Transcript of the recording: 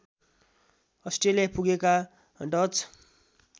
Australia पुगेका Dutch